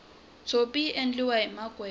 tshopi yi endliwahi makwembe